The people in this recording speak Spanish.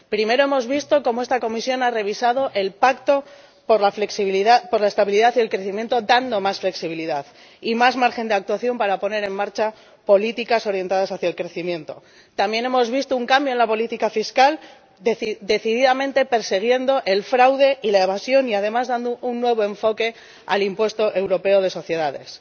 Primero hemos visto cómo esta Comisión ha revisado el pacto por la flexibilidad, por la estabilidad y el crecimiento, dando más flexibilidad y más margen de actuación para poner en marcha políticas orientadas hacia el crecimiento. También hemos visto un cambio en la política fiscal, persiguiendo decididamente el fraude y la evasión y, además, dando un nuevo enfoque al impuesto europeo de sociedades